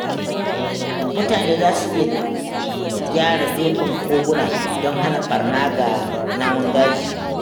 Mutane za su iya gyara gefen koguna don hana barna ga namun daji.